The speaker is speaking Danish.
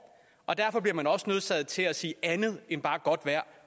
og derfor bliver man også nødsaget til at sige andet end bare godt vejr